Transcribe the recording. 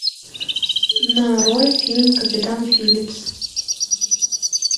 нарой фильм капитан филипс